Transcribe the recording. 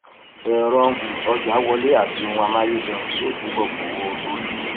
ẹrọ um ọjà wọlé àti ohun amáyédẹrùn yóò túbọ gbowó lórí